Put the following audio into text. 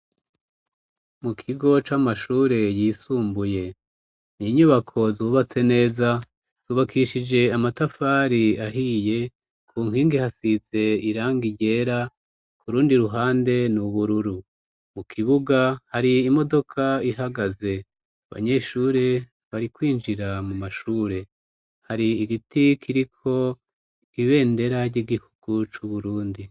Mu kigo c'amashure yisumbuye. Ni inyubako zubatse neza, zubakishije amatafari ahiye ku nkingi hasize iranga ryera, ku rundi ruhande n'ubururu. Mu kibuga hari imodoka ihagaze, abanyeshure bari kwinjira mu mashure ,hari igiti kiriko ibendera ry'igihugu c'Uburundi.